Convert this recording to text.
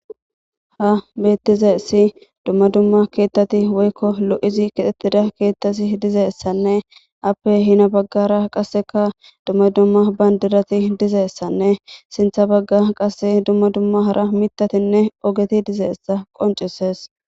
Ha bettize si dumma dumma keettati woykko lo7izi kixxettida keettati dizeessanne appe hina baggara qasseka dumma dumma bandirati dizeessanne sintha bagga qasse dumma dumma hara mitatinne ogeti dizeessa qoncises